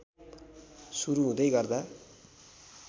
सुरु हुँदै गर्दा